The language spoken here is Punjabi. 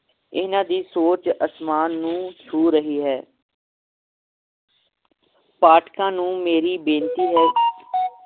ਇਹਨਾਂ ਦੀ ਸੋਚ ਅਸਮਾਨ ਨੂੰ ਛੂ ਰਹੀ ਹੈ ਪਾਠਕਾਂ ਨੂੰ ਮੇਰੀ ਬੇਨਤੀ ਹੈ